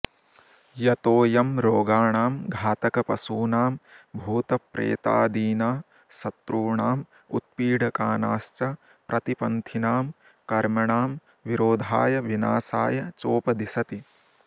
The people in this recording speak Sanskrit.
यतोऽयं रोगाणां घातकपशूनां भूतप्रेतादीना शत्रूणाम् उत्पीडकानाश्च प्रतिपन्थिनां कर्मणां विरोधाय विनाशाय चोपदिशति